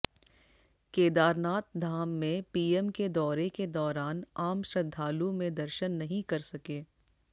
केदारनाथ धाम में पीएम के दौरे के दौरान आम श्रद्धालु में दर्शन नहीं कर सके